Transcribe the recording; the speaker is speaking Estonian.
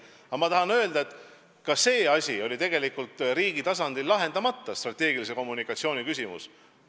Samas ma tahan öelda, et seegi asi oli tegelikult riigi tasandil lahendamata, see strateegilise kommunikatsiooni küsimus.